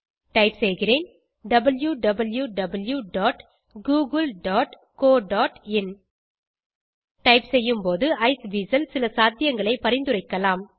type செய்கிறேன் wwwgooglecoin type செய்யும்போது Iceweasel சில சாத்தியங்களை பரிந்துரைக்கலாம்